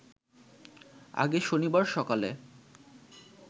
আগে শনিবার সকালে